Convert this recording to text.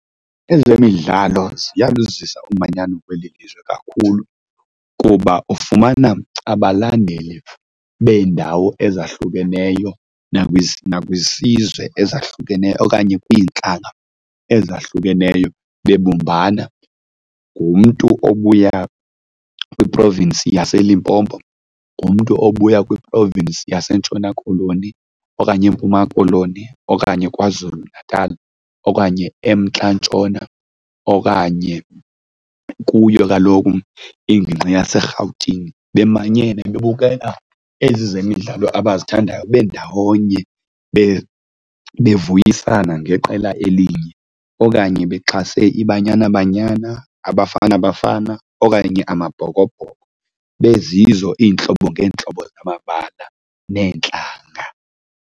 Ezemidlalo ziyaluzisa umanyano kweli lizwe kakhulu kuba ufumana abalandeli beendawo ezahlukeneyo nakwisizwe ezahlukeneyo okanye kwintlanga ezahlukeneyo bebumbana. Ngumntu obuya kwi-province yaseLimpopo, ngumntu obuya kwi-province yaseNtshona Koloni okanye eMpuma Koloni okanye KwaZulu-Natal okanye eMntla Ntshona okanye kuyo kaloku ingingqi yaseRhawutini bemanyene bebukela ezi zemidlalo abazithandayo bendawonye bevuyisana ngeqela elinye okanye bexhase iBanyana Banyana, aBafana Bafana okanye amaBhokoBhoko bezizo iintlobo ngeentlobo zamabala neentlanga.